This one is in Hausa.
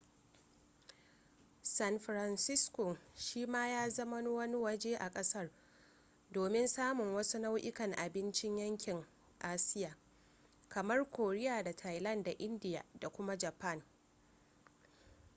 san francisco shi ma ya zama wani waje a kasar domin samun wasu nau'ukan abincin yankin asiya kamar korea da thailand da indiya da kuma japan